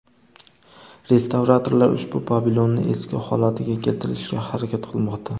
Restavratorlar ushbu pavilonni eski holatiga keltirishga harakat qilmoqda.